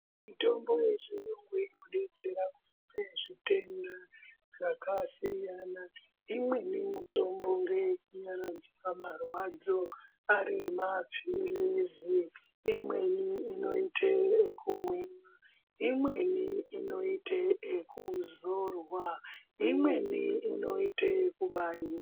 Mitombo inodetsera zvitenda zvakasiyana-siyana imweni mitombo ngeye kunyaradza marwadzo ari mapirizi imweni inoite yekumwiwa imweni inoitwe ekuzorwa imweni inoitwe yekubaiwa.